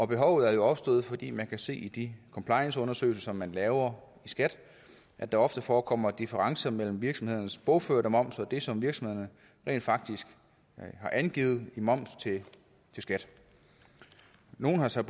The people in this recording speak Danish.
behovet er jo opstået fordi man kan se i de complianceundersøgelser man laver i skat at der ofte forekommer differencer mellem virksomhedernes bogførte moms og det som virksomhederne rent faktisk har angivet i moms til skat nogle har så